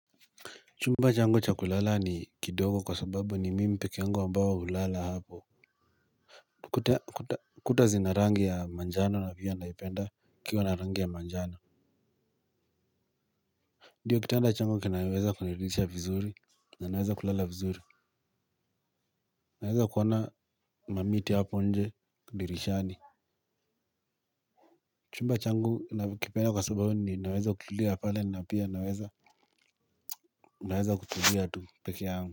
Chumba changu cha kulala ni kidogo kwa sababu ni mimi peke yangu ambaye hulala hapo. Kuta zina rangi ya manjano na pia naipenda ikiwa na rangi ya manjano. Ndiyo kitanda changu kinachoweza kuniridhisha vizuri na naweza kulala vizuri naweza kuona mamiti hapo nje dirishani. Chumba changu nakipenda kwa sababu ninaweza kutulia pale na pia naweza naweza kutulia tu peke yangu.